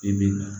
I bi na